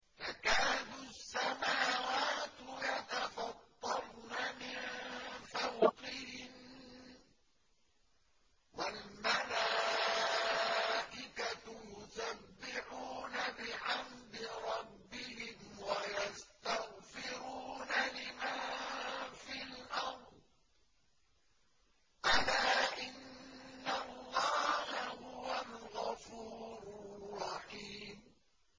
تَكَادُ السَّمَاوَاتُ يَتَفَطَّرْنَ مِن فَوْقِهِنَّ ۚ وَالْمَلَائِكَةُ يُسَبِّحُونَ بِحَمْدِ رَبِّهِمْ وَيَسْتَغْفِرُونَ لِمَن فِي الْأَرْضِ ۗ أَلَا إِنَّ اللَّهَ هُوَ الْغَفُورُ الرَّحِيمُ